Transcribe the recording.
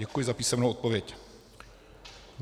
Děkuji za písemnou odpověď.